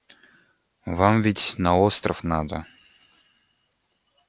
вам ведь на остров надо